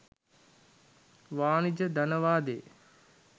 වාණිජ ධනවාදයේ